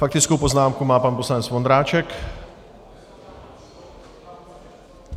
Faktickou poznámku má pan poslanec Vondráček.